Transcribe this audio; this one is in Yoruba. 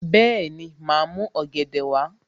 Bẹ́ẹ̀ni, màá mú ọ̀gẹ̀dẹ̀ wá